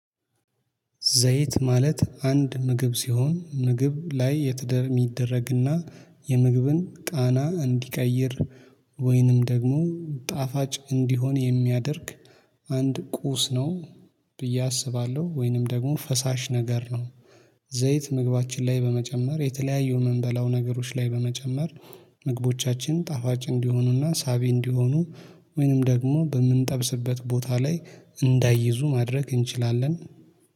ዘይት ማለት አንድ ምግብ ሲሆን ምግብ ላይ የትደር የሚደረግና የምግብን ቃና እንዲቀይር ወይንም ደግሞ ጣፋጭ እንዲሆን የሚያደርግ አንድ ቁስ ነው ብዬ አስባለሁ ወይንም ደግሞ ፈሳሽ ነገር ነው። ዘይት ምግባችን ላይ በመጨመር የተለያዩ ምንበላው ነገሮች ላይ በመጨመር ምግቦቻችን ጣፋጭ እንዲሆኑና ሳቢ እንዲሆኑ ወይንም ደግሞ በምንጠብስበት ቦታ ላይ እንዳይይዙ ማድረግ እንችላለን